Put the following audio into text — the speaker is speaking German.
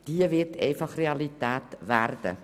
Diese wird einfach Realität werden.